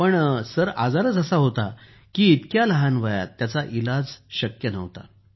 परंतु आजारच असा होता की इतक्या लहान वयात तो शक्यच नव्हता